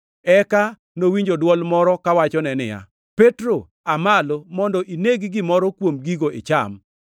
Eka nowinjo dwol moro kawachone niya, “Petro, aa malo, mondo ineg gimoro kuom gigo icham.”